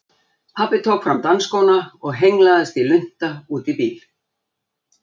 Pabbi tók fram dansskóna og hengslaðist í lunta út í bíl.